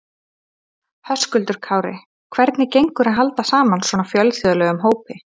Höskuldur Kári: Hvernig gengur að halda saman svona fjölþjóðlegum hópi?